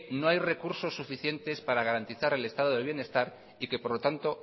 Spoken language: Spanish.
no hay recursos suficientes para garantizar el estado del bienestar y que por lo tanto